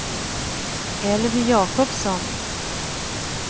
Elvy Jakobsson